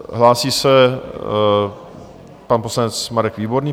Hlásí se pan poslanec Marek Výborný.